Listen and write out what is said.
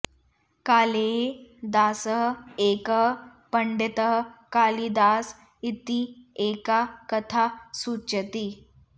कालेः दासः एकः पण्डितः कालिदास इति एका कथा सूचयति